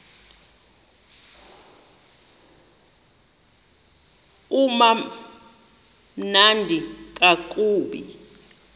uba mnandi ngakumbi